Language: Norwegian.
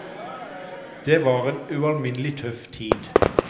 Det var en ualminnelig tøff tid.